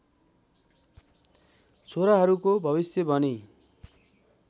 छोराहरूको भविष्य भनी